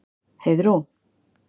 Heiðrún